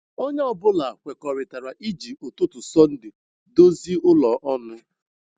Onye ọ bụla kwekọrịtara iji ụtụtụ Sọnde dozi ụlọ ọnụ.